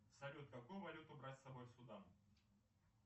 салют какую валюту брать с собой в судан